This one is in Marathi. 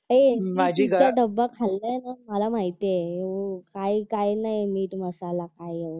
हे तू तिचा डबा खाल्लाय का मला माहितेय काय काय नाय मीठ मसाला काही